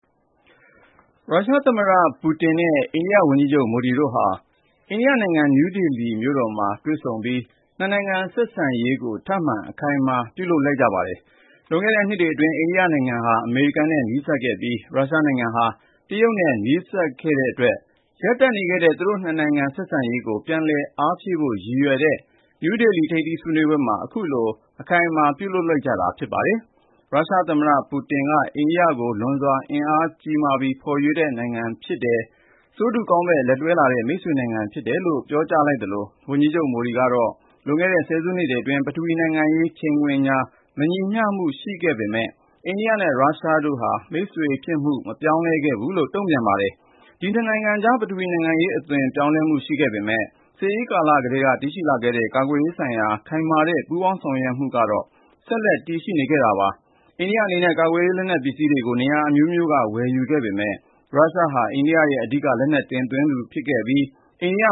ရုရှားသမ္မတ ပူတင်နဲ့ အိန္ဒိယဝန်ကြီးချုပ် မိုဒီတို့ဟာ အိန္ဒိယနိုင်ငံ နယူးဒေလီမြို့တော်မှာ တွေ့ဆုံပြီး နှစ်နိုင်ငံဆက်ဆံရေးကို ထပ်မံ အခိုင်အမာ ပြုလုပ်လိုက်ကြပါတယ်။ လွန်ခဲ့တဲ့နှစ်တွေအတွင်း အိန္ဒိယနိုင်ငံဟာ အမေရိကန်နဲ့ နီးစပ်ခဲ့ပြီး ရုရှားနိုင်ငံဟာ တရုတ်နဲ့ နီးစပ်ခဲ့တဲ့အတွက် ရပ်တန့်နေခဲ့တဲ့ သူတို့ ၂ နိုင်ငံ ဆက်ဆံရေးကို ပြန်လည်အားဖြည့်ဖို့ ရည်ရွယ်တဲ့ နယူးဒေလီ ထိပ်သီးဆွေးနွေးပွဲမှာ အခုလို အခိုင်အမာ ပြုလုပ်လိုက်ကြတာ ဖြစ်ပါတယ်။ ရုရှားသမ္မတ ပူတင်က အိန္ဒိယကို လွန်စွာ အင်အားကြီးမားပြီး ဖော်ရွေတဲ့နိုင်ငံ ဖြစ်တယ်။ ဆိုးတူကောင်းဘက် လက်တွဲလာခဲ့တဲ့ မိတ်ဆွေနိုင်ငံ ဖြစ်တယ်လို့ ပြောကြားလိုက်သလို ဝန်ကြီးချုပ် မိုဒီကတော့ လွန်ခဲ့တဲ့ ဆယ်စုနှစ်တွေအတွင်း ပထဝီဝင်နိုင်ငံရေး ချိန်ခွင်ညှာ မညီမျှမှု ရှိခဲ့ပေမယ့် အိန္ဒိယနဲ့ ရုရှားနိုင်ငံတို့ရဲ့ မိတ်ဆွေဖြစ်မှုကတော့ မပြောင်းလဲခဲ့ဘူးလို့ တုံ့ပြန် ပြောကြားခဲ့ပါတယ်။ ဒီနှစ်နိုင်ငံကြားမှာ ပထဝီနိုင်ငံရေး အသွင်ပြောင်းလဲမှု ရှိခဲ့ပေမယ့် စစ်အေးကာလ ကတည်းက တည်ရှိလာခဲ့တဲ့ ကာကွယ်ရေးဆိုင်ရာ ခိုင်မာတဲ့ ပူးပေါင်းဆောင်ရွက်မှုတွေကတော့ ဆက်လက်ရှိနေခဲ့တာပါ။ အိန္ဒိယအနေနဲ့ ကာကွယ်ရေး လက်နက်ပစ္စည်းတွေကို နေရာအမျိုးမျိုးကနေ ဝယ်ယူခဲ့ပေမယ့် ရုရှားဟာ အိန္ဒိယရဲ့ အဓိက လက်နက်တင်သွင်းသူအဖြစ် ရှိနေခဲ့ပြီး အိန္ဒိယ